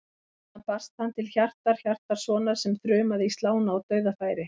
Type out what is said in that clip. Þaðan barst hann til Hjartar Hjartarsonar sem þrumaði í slána úr dauðafæri.